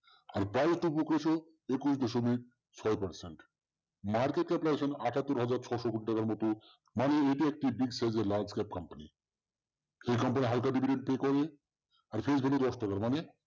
আর একুশ দশমিক ছয় percent, market আটাত্তর হাজার ছশো মতো মানে এটি একটি big size এর company এই company হালকা আর মানে